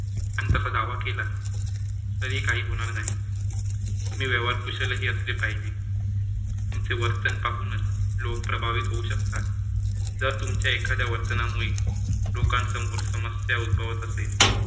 आणि तसा दावा केला तरी काही होणार नाही. तुम्ही व्यवहार कुशलही असले पाहिजे. तुमचे वर्तन पाहूनच लोक प्रभावीत होऊ शकतात. जर तुमच्या एखाद्या वर्तनामुळे लोकांसमोर समस्या उत्भवत असेल